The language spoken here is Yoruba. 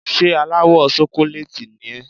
Ṣé aláwọ̀ ṣokolééètì ni ẹ́?